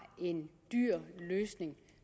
en dyr løsning